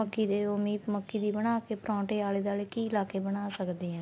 ਮੱਕੀ ਦੇ ਉਵੇ ਈ ਮੱਕੀ ਦੇ ਬਣਾ ਕੇ ਪਰੋਂਠੇ ਆਲੇ ਦੁਆਲੇ ਘੀ ਲਾ ਕੇ ਬਣਾ ਸਕਦੇ ਆ